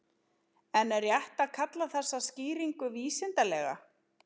En er rétt að kalla þessa skýringu vísindalega?